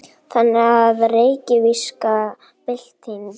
Þannig var reykvíska byltingin.